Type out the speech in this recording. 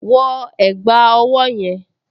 Wọ ẹ̀gbá ọwọ́ yẹn!